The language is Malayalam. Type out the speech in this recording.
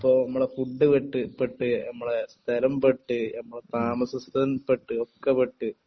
അതായത് ഇപ്പൊ നമ്മളെ ഫുഡ് പെട്ട് പെട്ട് സ്ഥലം പെട്ട് നമ്മുടെ താമസ പെട്ട് ഒക്കെ പെട്ട്